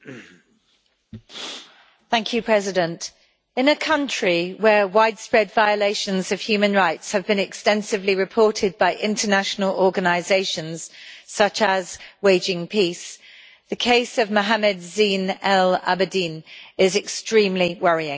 Mr President, in a country where widespread violations of human rights have been extensively reported by international organisations such as Waging Peace, the case of Mohamed Zine al Abidine is extremely worrying.